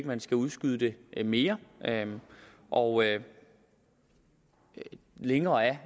man skal udskyde det mere og længere er